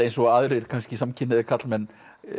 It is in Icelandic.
eins og aðrir kannski samkynhneigðir karlmenn